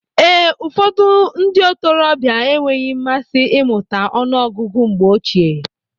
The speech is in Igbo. Ee, ụfọdụ ndị ntorobịa enweghị mmasị imuta ọnụ ọgụgụ mgbe ochie.